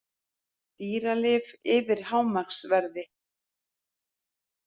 Dýralyf yfir hámarksverði